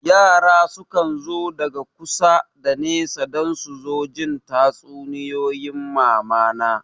Yara sukan zo daga kusa da nesa don su zo jin tatsuniyoyin mamana